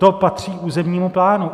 To patří územnímu plánu.